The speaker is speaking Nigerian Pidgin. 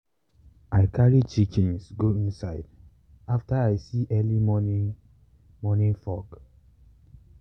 i carry chickens go inside after i see early morning morning fog.